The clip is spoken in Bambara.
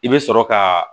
I bɛ sɔrɔ ka